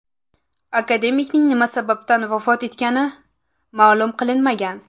Akademikning nima sababdan vafot etgani ma’lum qilinmagan.